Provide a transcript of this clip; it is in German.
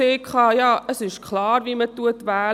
Viele haben auch gesagt, es sei klar, wie man wähle.